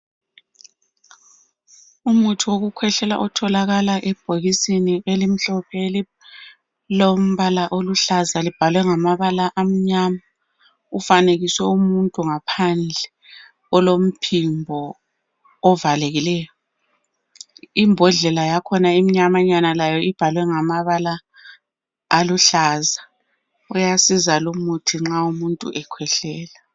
Umuthi wokukhwehlela otholakala ebhokisini elimhlophe elilombala oluhlaza libhalwe ngamabala amnyama kufanekiswe umuntu ngaphandle olomphimbo ovalekileyo . Uyasiza lumuthi nxa umuntu ekhwehlela.